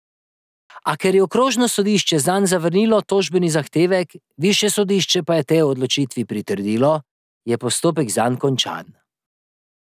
A ker je okrožno sodišče zanj zavrnilo tožbeni zahtevek, višje sodišče pa je tej odločitvi pritrdilo, je postopek zanj končan.